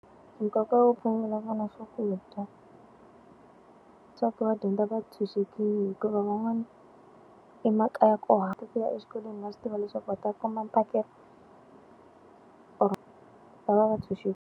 Nkoka wo phamela vana swakudya swakudya. Swa ku va dyondza va tshunxekile hikuva van'wana emakaya ku ku fika exikolweni va swi tiva leswaku va ta kuma mphakelo or va va va .